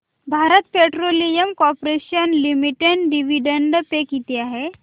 Bharat petroleum corporation limited dividend pay किती आहे